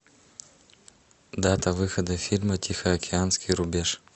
дата выхода фильма тихоокеанский рубеж